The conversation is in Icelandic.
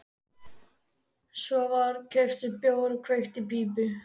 Svo var keyptur bjór og kveikt í pípu.